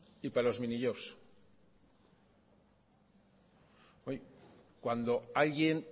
y para los minijobs cuando alguien